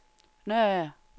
Nørager